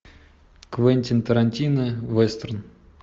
квентин тарантино вестерн